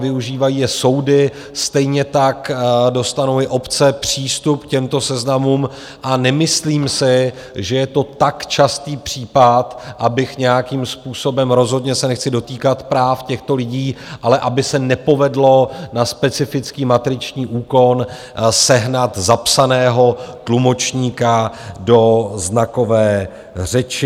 Využívají je soudy, stejně tak dostanou i obce přístup k těmto seznamům, a nemyslím si, že je to tak častý případ, abych nějakým způsobem - rozhodně se nechci dotýkat práv těchto lidí - ale aby se nepovedlo na specifický matriční úkon sehnat zapsaného tlumočníka do znakové řeči.